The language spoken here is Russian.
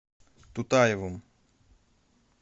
тутаевым